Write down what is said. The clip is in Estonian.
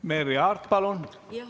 Merry Aart, palun!